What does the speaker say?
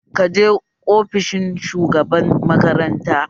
Ka je ofishin shugaban makaranta?